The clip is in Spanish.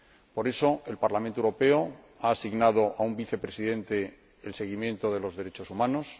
Por eso, el Parlamento Europeo ha asignado a un Vicepresidente el seguimiento de los derechos humanos